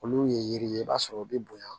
Olu ye yiri ye i b'a sɔrɔ u bɛ bonya